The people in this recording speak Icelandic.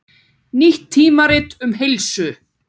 Nýtt tímarit um heilsu